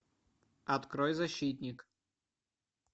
открой защитник